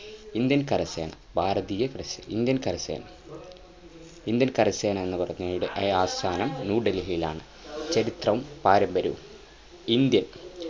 Indian കര സേന ഭാരതീയ കര സേന Indian കര സേന Indian കര സേന എന്ന പറഞ്ഞാരുടെ അയാസ്ഥാനം ന്യൂ ഡൽഹിലാണ് ചരിത്രവും പാരമ്പര്യവും Indian